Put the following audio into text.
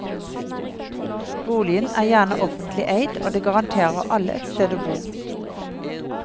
Boligen er gjerne offentlig eid og det garanterer alle et sted å bo.